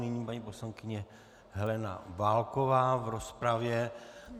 Nyní paní poslankyně Helena Válková v rozpravě.